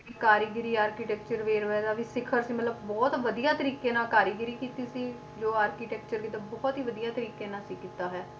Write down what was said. ਇੱਕ ਕਾਰੀਗਰੀ architecture ਵੇਰਵਾ ਇਹਦਾ ਵੀ ਸਿਖ਼ਰ ਤੇ ਮਤਲਬ ਬਹੁਤ ਵਧੀਆ ਤਰੀਕੇ ਨਾਲ ਕਾਰੀਗਰੀ ਕੀਤੀ ਸੀ ਜੋ architecture ਦੀ ਤਾਂ ਬਹੁਤ ਹੀ ਵਧੀਆ ਤਰੀਕੇ ਨਾਲ ਸੀ ਕੀਤਾ ਹੋਇਆ,